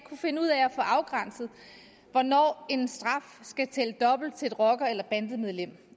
finde ud af at få afgrænset hvornår en straf skal tælle dobbelt til en rocker eller et bandemedlem